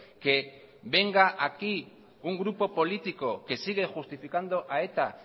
que venga aquí un grupo político que sigue justificando a eta